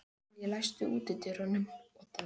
Elly, læstu útidyrunum.